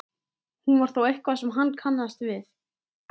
Hún var þó eitthvað sem hann kannaðist við.